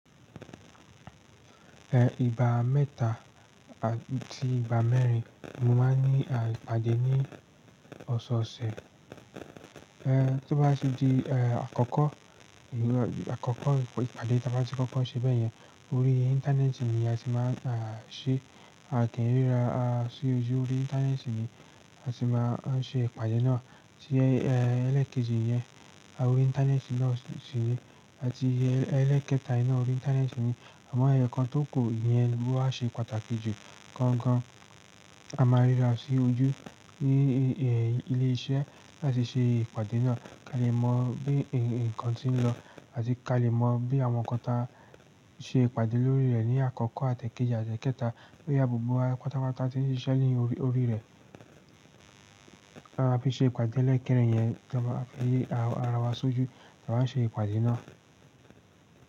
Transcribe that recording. Eh, ìgbà mẹ́ta àti ìgbà mẹ́rin mo máa ń ní ipadẹ ní ọ̀sẹ̀ ọ̀sẹ̀. Eh, tó bá tì di eh àkọ́kọ́ àkọ́kọ́ ìpàdé ta bá ti kọ́kọ́ ṣe bẹ́ẹ̀ yẹn, orí internet ni a ti máa ń ṣe, a kìí ríra a sí ojú orí internet ni a ti máa ń ṣe ìpàdé náà. Tí ẹlẹ́kẹ́jì yẹn lórí internet náà sì ni àti ẹlẹ́kẹta náà orí internet ni àmọ́ eyo kan tó ku iyẹn ló wa ṣe pàtàkì jù gangan, a máa ríra sí ojú ní ilé iṣẹ́ láti ṣe ìpàdé náà ká lè mọ bí ǹkan tí ń lọ àti ká lè mọ bí àwọn kan ta ṣe ìpàdé lórí rẹ̀ ní àkọ́kọ́ àti ekéjì àti ekẹta boya gbogbo wa pátápátá tí ń ṣiṣẹ́ ní orí rẹ̀. Bí ṣe ìpàdé ẹlẹ́kẹ́rin yẹn ta baa fẹ́ ri ara wa sójú ta wa n ṣe ìpàdé náà.